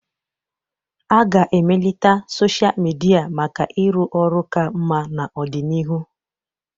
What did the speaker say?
A ga-emelite sochịa midia maka ịrụ ọrụ ka mma n'ọdịnihu.